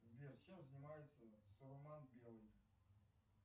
сбер чем занимается салман белый